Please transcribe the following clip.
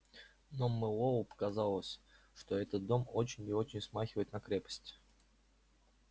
но мэллоу показалось что этот дом очень и очень смахивает на крепость